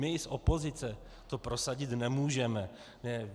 My z opozice to prosadit nemůžeme.